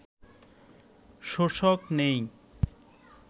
শোষক নেই